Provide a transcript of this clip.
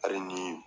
Hali ni